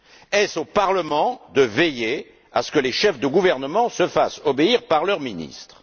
Est ce au Parlement de veiller à ce que les chefs de gouvernement se fassent obéir de leurs ministres?